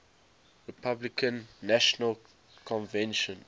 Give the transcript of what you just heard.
republican national convention